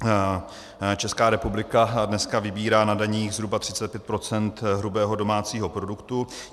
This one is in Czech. Česká republika dneska vybírá na daních zhruba 35 % hrubého domácího produktu.